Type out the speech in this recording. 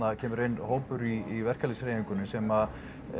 það kemur inn hópur í verkalýðshreyfingunni sem